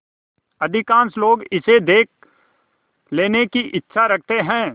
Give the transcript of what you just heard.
अधिकांश लोग इसे देख लेने की इच्छा रखते हैं